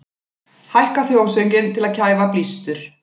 Hækka þjóðsönginn til að kæfa blístur